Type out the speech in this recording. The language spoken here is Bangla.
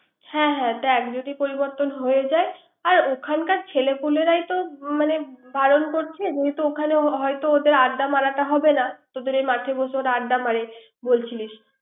হ্যা হ্যা দেখ যদি পরিবর্তন হয়ে যায়। আর ওখানকার ছেলেপুলেরা তো মানে বারন করছে। ওখানে হয়ত আড্ডা মারাটা হবে না। তোদের ওই মাঠের মধ্যে আড্ডা মারে বলছিলিস।